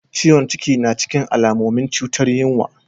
Ciwon cikin na cikin alamomin cutar yinwa.